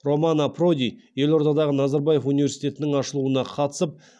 романо проди елордадағы назарбаев университетінің ашылуына қатысып